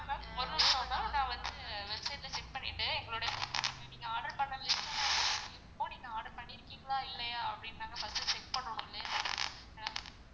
ma'am ma'am ஒரு நிமிஷம் ma'am நான் வந்து website ல check பண்ணிட்டு எங்களுடைய நீங்க order பண்ணது நீங்க order பண்ணிருக்கீங்களா இல்லையா அப்படின்னு first நாங்க check பண்ணுவோம்.